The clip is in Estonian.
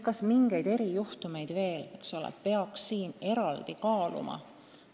Kas mingeid erijuhtumeid peaks veel eraldi kaaluma?